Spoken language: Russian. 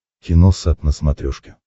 киносат на смотрешке